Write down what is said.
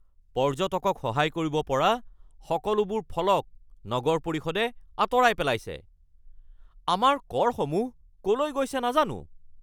পৰ্যটকক সহায় কৰিব পৰা সকলোবোৰ ফলক নগৰ পৰিষদে আঁতৰাই পেলাইছে। আমাৰ কৰসমূহ ক'লৈ গৈছে নাজানো (স্থানীয়)